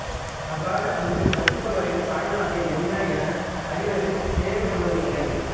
அவ்வாறு அங்கு வசிப்பவரின் தாய்நாடு என்ன என அறிவது தேவைப்படுவதில்லை